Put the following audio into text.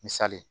Misali ye